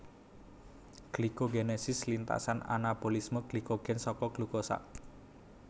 Glikogenesis lintasan anabolisme glikogen saka glukosa